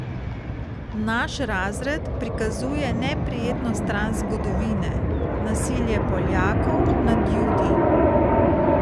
Naš razred prikazuje neprijetno stran zgodovine, nasilje Poljakov nad Judi.